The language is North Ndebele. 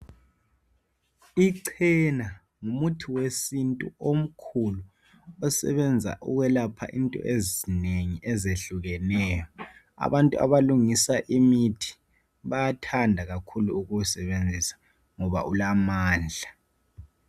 Icena ngumuthi wesintu omkhulu osebenza ukwelapha into ezinengi ezehlukeneyo. Abantu abanengi abalungisa imithi bayathanda ukuwusebenzisa ngoba ulamandla.